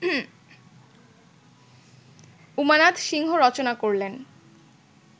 উমানাথ সিংহ রচনা করলেন